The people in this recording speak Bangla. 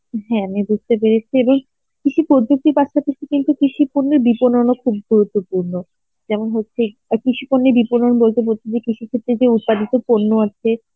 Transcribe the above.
হ্যাঁ আমি বুঝতে পেরেছি এবং কিছু পদ্ধতি কিন্তু কৃষি পণ্যে খুব গুরুত্বপূর্ণ. যেমন হচ্ছে অ্যাঁ কৃষি পণ্যে কৃষি ক্ষেত্রে যে উৎপাদিত পণ্য আছে